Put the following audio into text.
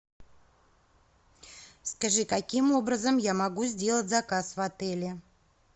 скажи каким образом я могу сделать заказ в отеле